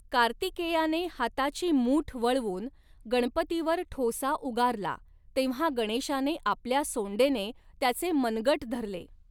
कार्तिकेयाने हाताची मूठ वळवून गणपती वर ठोसा उगारला तेव्हा गणेशाने आपल्या सोंडेने त्याचे मनगट धरले.